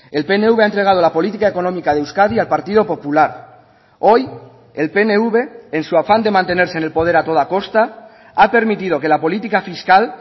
el pnv ha entregado la política económica de euskadi al partido popular hoy el pnv en su afán de mantenerse en el poder a toda costa ha permitido que la política fiscal